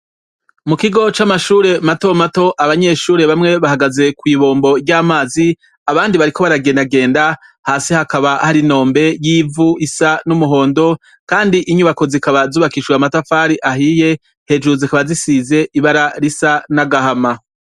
Mukigo camashure matomato abanyeshure bamwe bahagaze kwibombo ryamazi abandi bariko baragenda genda hasi hakaba hari inombe isanivu ryumuhondo kandi inyubako zikaba zubakishijwe amatafari ahiye hejuru zikaba zisize irangi risa nagahama